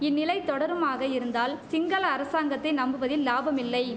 இந்நிலை தொடருமாக இருந்தால் சிங்கள அரசாங்கத்தை நம்புவதில் லாபமில்லை